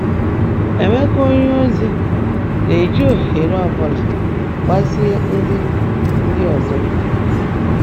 Emeka onyeozi na-eji ohere ọ bụla agbasie ndị ndị ọzọ ike.